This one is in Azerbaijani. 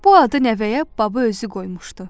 Bu adı nəvəyə baba özü qoymuşdu.